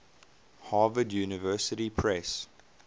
harvard university press